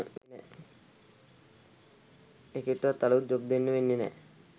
එකෙක්ටවත් අලුත් ජොබ් දෙන්න වෙන්නෙ නෑ.